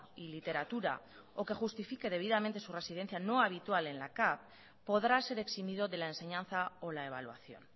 y literatura o que justifique debidamente su residencia no habitual en la cav podrá ser eximido de la enseñanza o la evaluación